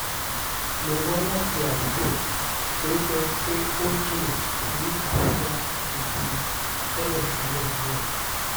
mo wá láti àdúgbò tó jẹ́ pé ó jìnnà sí àbújá gidi tẹ́lẹ̀tẹ́lẹ̀ náà